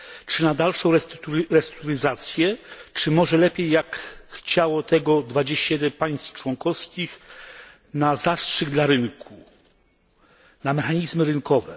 Czy na dalszą restrukturyzację, czy może lepiej, jak chciało tego 21 państw członkowskich, na zastrzyk dla rynku, na mechanizmy rynkowe?